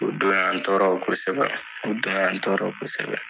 O don y'an tɔɔrɔ kosɛbɛ o don tɔɔrɔ kosɛbɛ.